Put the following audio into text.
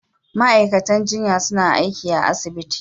Ma'aikatan jinya suna aiki a asibiti.